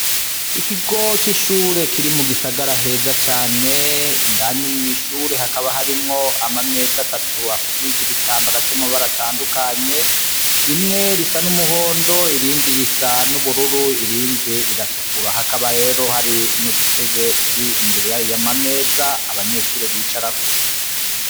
Ikigoc' ishure kiri mu gisagara heza cane indani mw'ishure hakaba harimwo amameza atatu apfukije ibitambara vy'amabara atandukanye rimwe risa n'umuhondo irindi risa n'ubururu irindi riratukura ahakaba rero hari n'udutebe turi imbere yayo y'amameza abanyeshure bicarako.